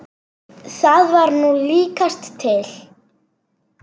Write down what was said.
Það var nú líkast til.